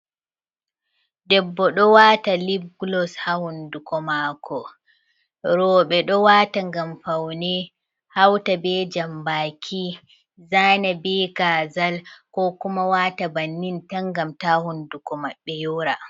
Debbo ɗo wata lib glos ha hunduko mako, roɓɓe ɗo wata ngam faune hauta be jambaki, zana be kazal ko kuma wata bannin, tan gam ta hunduko maɓbe yora.